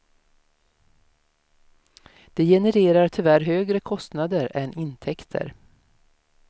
Det genererar tyvärr högre kostnader än intäkter.